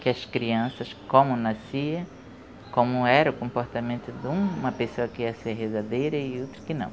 Que as crianças, como nascia, como era o comportamento de uma pessoa que ia ser rezadeira e outra que não.